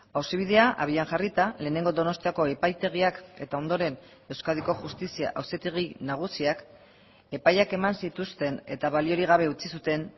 auzibidea abian jarrita lehenengo donostiako epaitegiak eta ondoren euskadiko justizia auzitegi nagusiak epaiak eman zituzten eta baliorik gabe utzi zuten